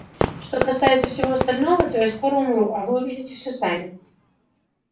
что касается всего остального то я скоро умру а вы увидите все сами